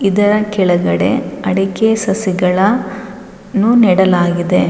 ಇದರ ಕೆಳಗಡೆ ಅಡಿಕೆ ಸಸಿಗಳ ನ್ನು ನೆಡಲಾಗಿದೆ.